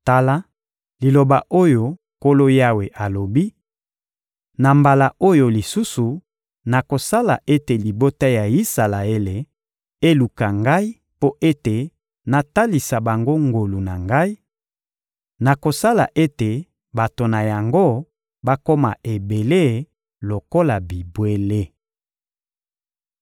Tala liloba oyo Nkolo Yawe alobi: Na mbala oyo lisusu, nakosala ete libota ya Isalaele eluka Ngai mpo ete natalisa bango ngolu na Ngai: nakosala ete bato na yango bakoma ebele lokola bibwele.